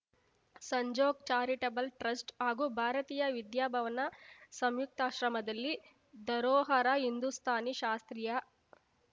Sanjog charitable trust ಹಾಗೂ ಭಾರತೀಯ ವಿದ್ಯಾಭವನ ಸಂಯುಕ್ತಾಶ್ರಮದಲ್ಲಿ ಧರೋಹರ ಹಿಂದುಸ್ತಾನಿ ಶಾಸ್ತ್ರೀಯ